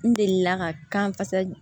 N delila ka kan kasa